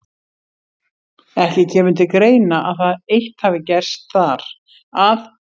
Ekki kemur til greina, að það eitt hafi gerst þar, að